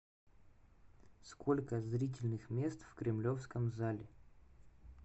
сколько зрительных мест в кремлевском зале